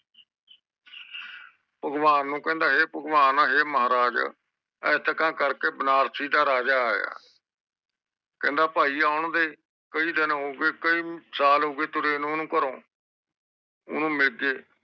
ਭਗਵਾਨ ਨੂੰ ਕਹਿੰਦਾ ਹੈ ਭਗਵਾਨ ਹੈ ਮਹਾਰਾਜ ਏਦਾਂ ਕਰਕੇ ਬਾਨਾਰਸਿ ਦਾ ਮਹਾਰਾਜਾ ਆਯਾ ਆ ਕਹਿੰਦਾ ਆ ਜਾਂਦੇ ਫੇਰ ਓਹਨੂੰ ਕਈ ਦਿਨ ਹੋ ਗਏ ਕਈ ਸੱਲ ਹੋਗੇ ਓਹਨੂੰ ਤੁਰੇ ਘਰੋਂ ਓਹਨੂੰ ਮਿਲੀਏ